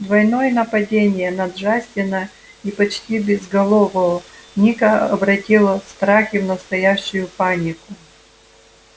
двойное нападение на джастина и почти безголового ника обратило страхи в настоящую панику